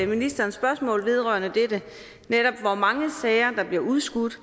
ministeren spørgsmål vedrørende dette hvor mange sager der bliver udskudt